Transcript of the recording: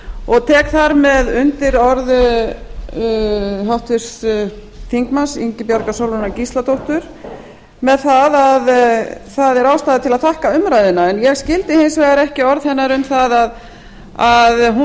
og tek þar með undir orð háttvirts þingmanns ingibjargar sólrúnar gísladóttir með að það er ástæða til að þakka umræðuna en ég skildi hins vegar ekki orð hennar um að hún